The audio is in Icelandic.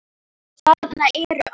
Þarna eru allir.